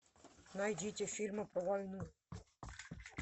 найдите фильмы про войну